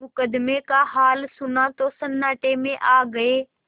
मुकदमे का हाल सुना तो सन्नाटे में आ गये